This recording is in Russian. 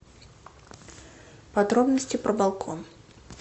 подробности про балкон